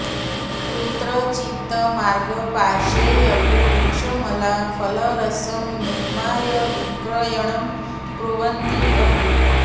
कुत्रचित् मार्गपार्श्वे अपि वृक्षामलाफलरसं निर्माय विक्रयणं कुर्वन्ति अपि